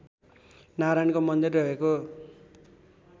नारायणको मन्दिर रहेको